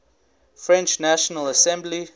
french national assembly